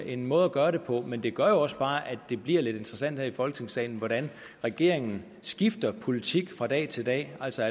en måde at gøre det men det gør jo også bare at det bliver lidt interessant her i folketingssalen hvordan regeringen skifter politik fra dag til dag altså